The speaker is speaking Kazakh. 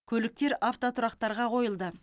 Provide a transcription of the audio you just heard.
көліктер автотұрақтарға қойылды